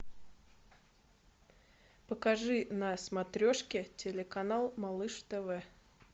покажи на смотрешке телеканал малыш тв